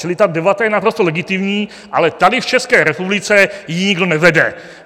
Čili ta debata je naprosto legitimní, ale tady v České republice ji nikdo nevede.